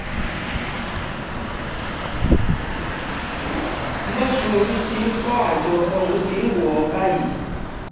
lọ́sùn orí tí ń fọ́ àjọ ọ̀run ti ń wọ̀ ọ́ báyìí